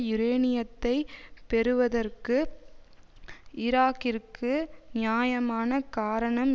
யூரேனியத்தை பெறுவதற்கு ஈராக்கிற்கு நியாயமான காரணம்